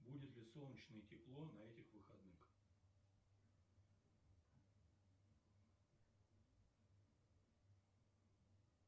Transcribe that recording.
будет ли солнечно и тепло на этих выходных